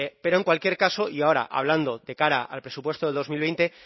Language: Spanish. pero en cualquier caso y ahora hablando de cara al presupuesto de dos mil veinte